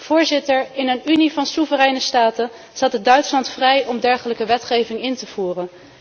Voorzitter, in een Unie van soevereine staten staat het Duitsland vrij om dergelijke wetgeving in te voeren.